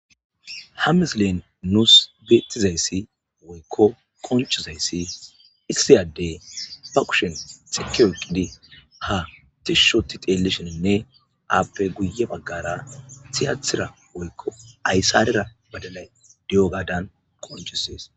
Ha misleyn nuus beettizayssi woykko konchizayssi isisiyade ba kushen xiki oyqqidi ha tishshoti telelishininne aappe guye baggara tiyatira woykko aysarera badanay di'o gaadan qoncusees